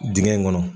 Dingɛ in kɔnɔ